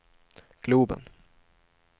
globen